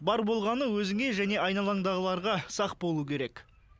бар болғаны өзіңе және айналаңдағыларға сақ болу керек